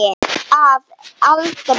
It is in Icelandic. Að aldrei.